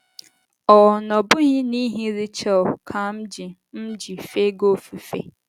Ọ́ na-ọbụghị n’ihi Rechel ka m ji m ji efe gị ofufe?